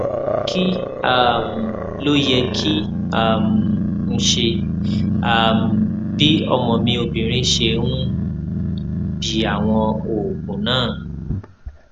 kí um ló yẹ kí um n ṣe um bí ọmọ mi obìnrin ṣe ń bi àwọn oògùn náà